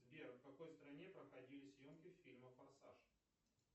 сбер в какой стране проходили съемки фильма форсаж